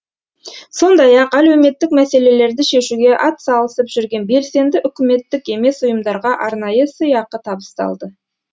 сондай ақ әлеуметтік мәселелерді шешуге атсалысып жүрген белсенді үкіметтік емес ұйымдарға арнайы сыйақы табысталды